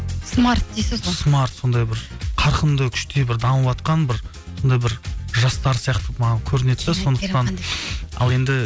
смарт дейсіз ғой смарт сондай бір қарқынды күште бір дамыватқан бір сондай бір жастар сияқты маған көрінеді ал енді